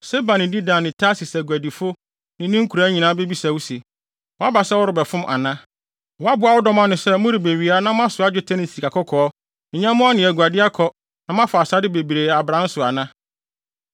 Seba ne Dedan ne Tarsis aguadifo ne ne nkuraa nyinaa bebisa wo se, “Woaba sɛ worebɛfom ana? Woaboa wo dɔm ano sɛ morebewia na moasoa dwetɛ ne sikakɔkɔɔ, nyɛmmoa ne aguade akɔ na moafa asade bebree abran so ana?” ’